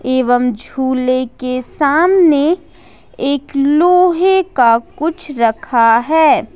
एवं झूले के सामने एक लोहे का कुछ रखा हुआ है।